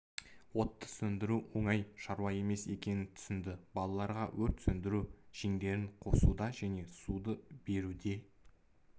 отты сөндіру оңай шаруа емес екенін түсінді балаларға өрт сөндіру жеңдерін қосуда және суды беруде